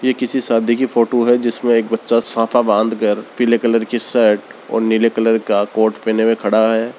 ये किसी शादी की फोटो है जिसमे एक बच्चा साफा बांधकर पिले कलर की शर्ट और नीले कलर का कोट पहने हुए खड़ा है।